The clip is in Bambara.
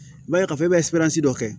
I b'a ye k'a fɔ e bɛ dɔ kɛ